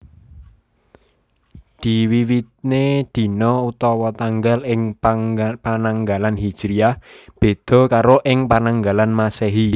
Diwiwitiné dina/tanggal ing Pananggalan Hijriyah béda karo ing Pananggalan Masèhi